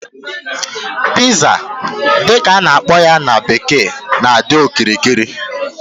Pizza dị ka a na-akpọ ya na bekee na-adịkarị okirikiri